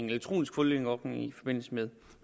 elektronisk fodlænke ordning i forbindelse med